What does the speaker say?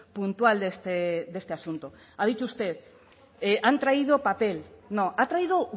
puntual de este asunto ha dicho usted han traído papel no ha traído